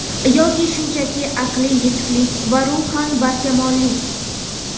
yoki shunchaki aqliy yetuklik va ruhan barkamollik.